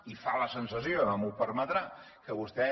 i fa la sensació ara m’ho permetrà que vostè